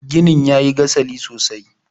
ginin ya yi gasali sosai